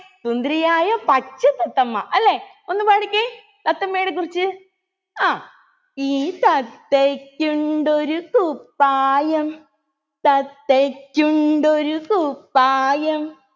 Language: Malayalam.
സുന്ദരിയായ പച്ച തത്തമ്മ അല്ലെ ഒന്ന് പാടിക്കേ തത്തമ്മയെ കുറിച്ച് ആ ഈ തത്തയ്‌ക്കുണ്ടൊരു കുപ്പായം തത്തയ്‌ക്കുണ്ടൊരു കുപ്പായം